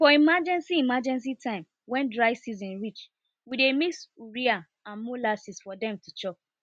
for emergency emergency time wen dry season reach we dey mix urea and molasses for them to chop